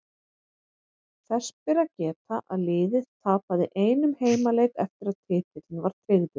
Þess ber að geta að liðið tapaði einum heimaleik eftir að titillinn var tryggður.